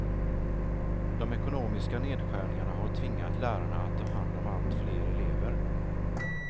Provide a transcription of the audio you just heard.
De ekonomiska nedskärningarna har tvingat lärarna att ta hand om allt fler elever.